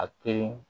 A teyi